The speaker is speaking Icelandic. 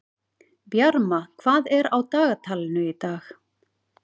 Bjarma, hvað er á dagatalinu í dag?